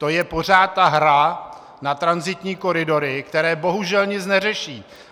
To je pořád ta hra na tranzitní koridory, které bohužel nic neřeší.